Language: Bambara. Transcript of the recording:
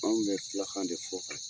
Anw bɛ filakan de fɔ kɛ